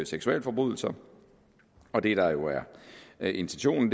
seksualforbrydelser og det der jo er intentionen